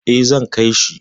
Eh, zan kai shi.